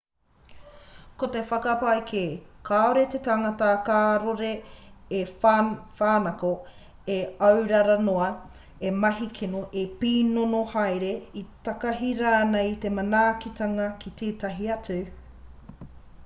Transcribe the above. ko te whakapae kē kāore te tangata karore e whānako e aurara noa e mahi kino e pīnono haere e takahi rānei i te manaakitanga a tētahi atu